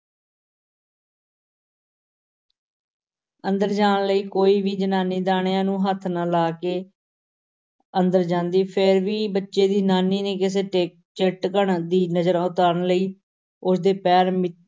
ਅੰਦਰ ਜਾਣ ਲਈ ਕੋਈ ਵੀ ਜ਼ਨਾਨੀ ਦਾਣਿਆਂ ਨੂੰ ਹੱਥ ਨਾ ਲਾ ਕੇ ਅੰਦਰ ਜਾਂਦੀ, ਫਿਰ ਵੀ ਬੱਚੇ ਦੀ ਨਾਨੀ ਨੇ ਕਿਸੇ ਟੇ~ ਚੇਟਕਣ ਦੀ ਨਜ਼ਰ ਉਤਾਰਨ ਲਈ ਉਸ ਦੇ ਪੈਰ ਮਿ~x```